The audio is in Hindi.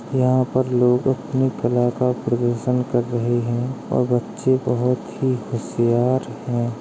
यहाँ पर लोग अपनी कला का प्रदर्शन कर रहे हैं और बच्चे बोहोत ही होशियार हैं।